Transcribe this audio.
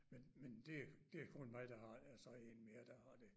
Men men det det kun mig der har altså en mere der har det